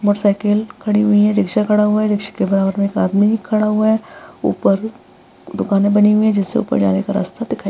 Motorcycle खड़ी हुई हैं रिक्शा खड़ा हुआ है। रिक्शा के बराबर में एक आदमी भी खड़ा हुआ है। ऊपर दुकानें बनी हुई हैं जिसके ऊपर जाने का रास्ता दिखाई दे --